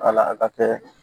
Wala a ka kɛ